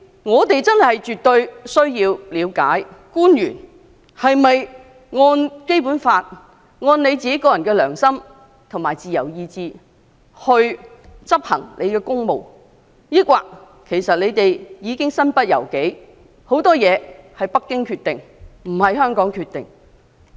我們絕對有必要了解，官員是否按照《基本法》、其個人良心和自由意志執行公務；抑或他們身不由己，很多事情由北京而非香港決定？